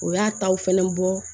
O y'a taw fɛnɛ bɔ